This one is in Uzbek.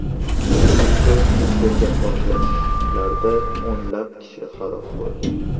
Idlibda yuz bergan portlashlarda o‘nlab kishi halok bo‘ldi.